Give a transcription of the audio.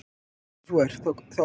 Ef svo er, þá af hverju?